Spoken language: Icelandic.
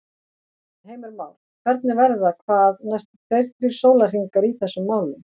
Heimir Már: Hvernig verða hvað næstu tveir, þrír sólarhringar í þessum málum?